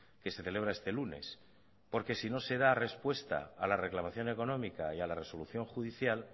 que se celebra este lunes porque si no se da respuesta a la reclamación económica y a la resolución judicial